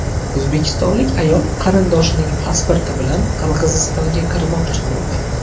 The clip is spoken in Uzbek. O‘zbekistonlik ayol qarindoshining pasporti bilan Qirg‘izistonga kirmoqchi bo‘ldi.